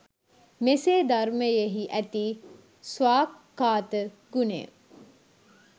මෙසේ ධර්මයෙහි ඇති ස්වාක්ඛාත ගුණය